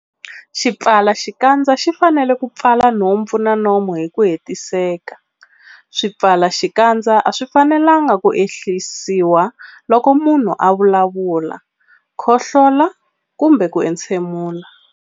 Xipfalaxikandza xi fanele ku pfala nhompfu na nomo hi ku hetiseka. Swipfalaxikandza a swi fanelanga ku ehlisiwa loko munhu a vulavula, khohlola kumbe ku entshemula.